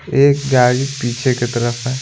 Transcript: एक गाड़ी पीछे की तरफ है।